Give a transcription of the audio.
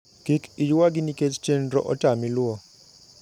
Kik iywagi nikech chenro otami luwo.